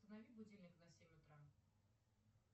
установи будильник на семь утра